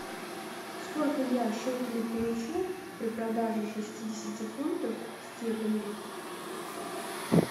сколько я шекелей получу при продаже шестидесяти фунтов стерлингов